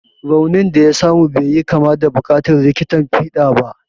Raunin da ya samu bai yi kama da buƙatar likitan fiɗa ba.